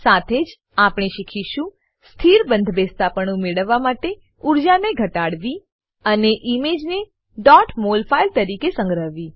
સાથે જ આપણે શીખીશું સ્થિર બંધબેસતાપણું મેળવવા માટે ઊર્જાને ઘટાડવી અને ઈમેજને mol ફાઈલ તરીકે સંગ્રહવી